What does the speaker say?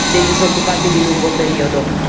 dei disoccupati di lungo periodo